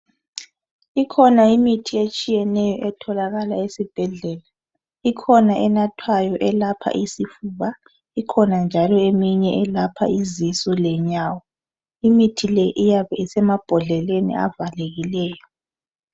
Kukhona imithi etshiyeneyo etholakala esibhedlela, ikhona enathwayo elepha isifuba, ikhona njalo elephan izisu lenyawo. Imithi le iyabe isemabhodleleni avalekileyo.